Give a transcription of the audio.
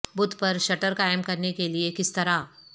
both پر shutter قائم کرنے کے لئے کس طرح